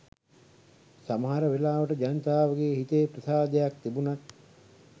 සමහර වෙලාවට ජනතාවගේ හිතේ ප්‍රසාදයක් තිබුණත්